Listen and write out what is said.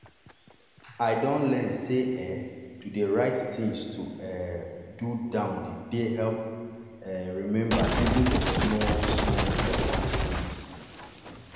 i don learn sey um to dey write things to um do down dey dey help um remember even the small-small important things.